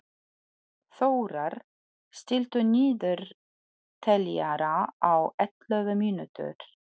Þórar, stilltu niðurteljara á ellefu mínútur.